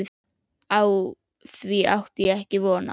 Á því átti ég ekki von.